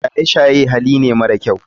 Shaye shaye Hali ne mara kyau.